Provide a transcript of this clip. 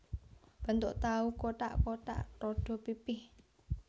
Bentuk tahu kothak kothak rada pipih